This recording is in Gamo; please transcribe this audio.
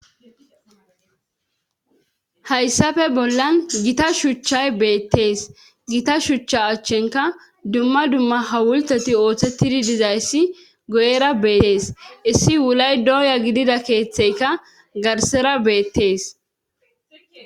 hayssafe bollan gita shuchchay beettees gita shuchcha achchenka dumma dumma hawulteti ooththettidi dizayssi go7era beetees issi wulay dooya gidida keeththeyka garsera beettees